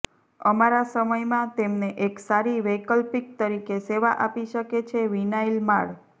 અમારા સમય માં તેમને એક સારી વૈકલ્પિક તરીકે સેવા આપી શકે છે વિનાઇલ માળ